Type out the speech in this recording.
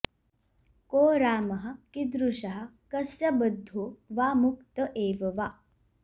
को रामः कीदृशः कस्य बद्धो वा मुक्त एव वा